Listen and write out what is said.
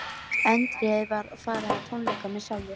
Erindið var að fara á tónleika með sjálfri